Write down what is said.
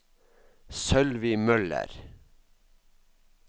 Sølvi Møller